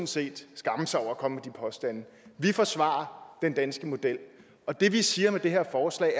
set skamme sig over at komme med de påstande vi forsvarer den danske model og det vi siger med det her forslag